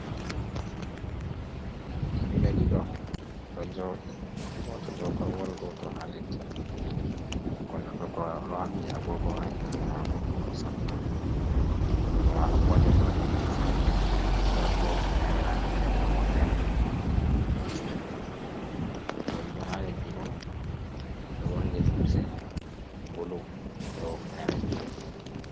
Himɓe ɗiɗo ɗo jooɗi gooto dow korowal, gooto haa leddi. Gonɗo dow korowal ɗo haɓɓi agoogo haa junngo maako bo, ɗo sappa. Junngo maako gootel bo ɗo jogi tasbirgol.O waɗi bo hufneere raneere be woɗeere, ɗum ɗo jillindiri, joɗiiɗo haa leddi bo ɗo borni limse bulu be hufneere bulu.